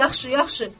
Yaxşı, yaxşı.